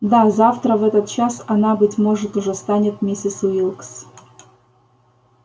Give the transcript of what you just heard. да завтра в этот час она быть может уже станет миссис уилкс